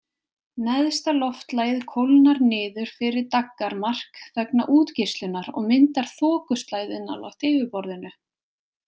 Neðsta loftlagið kólnar niður fyrir daggarmark vegna útgeislunar og myndar þokuslæðu nálægt yfirborðinu.